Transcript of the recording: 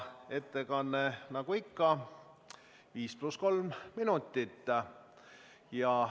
Ettekande pikkus on nagu ikka 5 + 3 minutit.